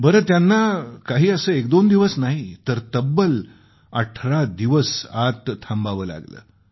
बरं त्यांना काही असं एकदोन दिवस नाही तर तब्बल 18 दिवस आत थांबावं लागलं